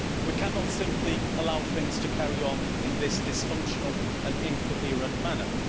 We cannot simply allow things to carry on in this dysfunctional and incoherent manner.